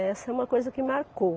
Essa é uma coisa que marcou.